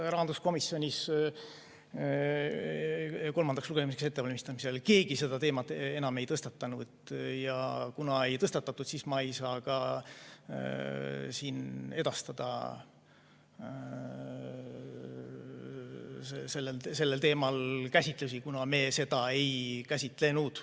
Rahanduskomisjonis kolmandaks lugemiseks ettevalmistamisel keegi seda teemat enam ei tõstatanud, ja kuna seda ei tõstatatud, siis ma ei saa ka siin edastada selle teema käsitlusi, kuna me seda ei käsitlenud.